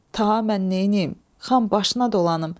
Ta mən neyniyim, xan başına dolanım.